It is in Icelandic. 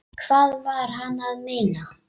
Hvað var hann að meina?